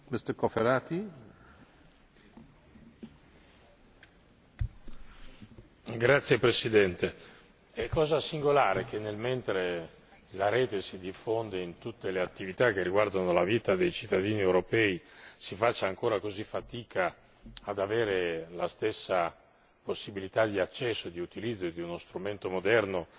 Signor Presidente, onorevoli colleghi, è singolare che mentre la rete si diffonde in tutte le attività che riguardano la vita dei cittadini europei, si faccia ancora così fatica ad avere la stessa possibilità di accesso e di utilizzo di uno strumento moderno